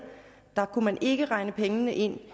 kunne man ikke regne pengene ind